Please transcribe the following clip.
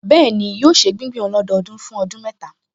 Bẹ́ẹ̀ni, yóò ṣe gbígbìn ọlọ́dọọdún fún ọdún mẹ́ta